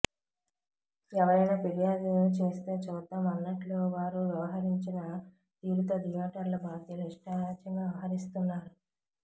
ఎవరైనా ఫిర్యాదు చేస్తే చూద్దాం అన్నట్లు వారు వ్యవహరించిన తీరుతో థియేటర్ల బాధ్యులు ఇష్టారాజ్యంగా వ్యవహరిస్తున్నారు